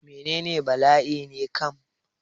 Menene bala'i ne kam?